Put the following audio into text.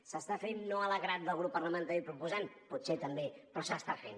s’està fent no de la manera que voldria el grup parlamentari proposant potser també però s’està fent